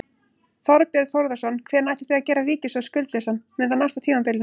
Þorbjörn Þórðarson: Hvenær ætlið þið að gera ríkissjóð skuldlausan, mun það nást á tímabilinu?